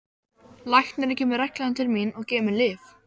Læknirinn kemur reglulega til mín og gefur mér lyf.